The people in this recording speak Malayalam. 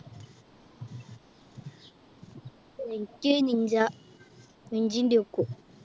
എനിക്ക് നീല engine Duke ഉം